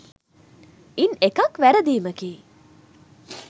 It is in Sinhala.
ඉන් එකක් වැරදීමකි